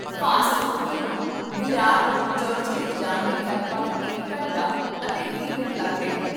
fast local ਨੂੰ ਵਿਰਾਰ ਤੋਂ ਚਰਚਗੇਟ ਜਾਣ ਲਈ ਲਗਭਗ ਇੱਕ ਘੰਟਾ ਅਤੇ ਵੀਹ ਮਿੰਟ ਲੱਗਦੇ ਹਨ